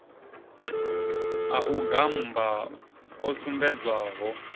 a u gammba o sumbedzwaho